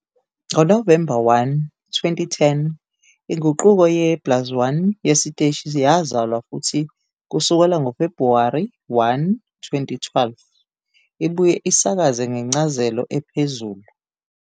NgoNovemba 1, 2010, inguqulo ye plus1 yesiteshi yazalwa futhi kusukela ngoFebhuwari 1, 2012, ibuye isakaze ngencazelo ephezulu.